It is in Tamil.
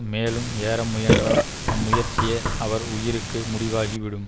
மேலும் ஏற முயன்றால் அம்முயற்சியே அவர் உயிருக்கு முடிவாகிவிடும்